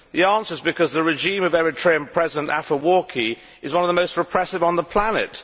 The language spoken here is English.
The answer is because the regime of Eritrean President Afewerki is one of the most repressive on the planet.